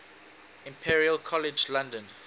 imperial college london